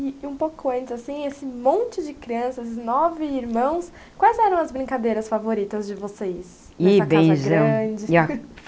E e um pouco antes assim, esse monte de crianças, nove irmãos, quais eram as brincadeiras favoritas de vocês. Ih benzão. Nessa casa grande?